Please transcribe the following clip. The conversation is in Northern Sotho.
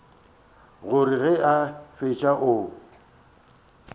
gore ge a fetša o